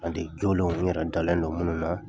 An den jolenw n yɛrɛ dala de munnu na.